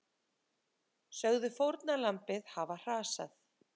Sögðu fórnarlambið hafa hrasað